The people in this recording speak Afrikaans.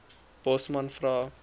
bosman vra